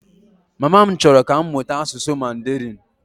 Mama m chọrọ ka m mụta asụsụ Mandarịn